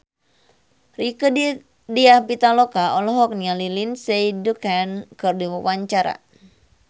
Rieke Diah Pitaloka olohok ningali Lindsay Ducan keur diwawancara